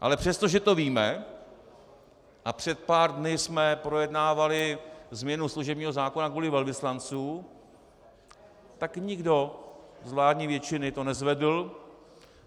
Ale přestože to víme a před pár dny jsme projednávali změnu služebního zákona kvůli velvyslancům, tak nikdo z vládní většiny to nezvedl.